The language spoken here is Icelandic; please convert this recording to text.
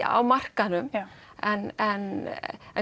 á markaðnum en en en